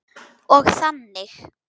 Og þannig.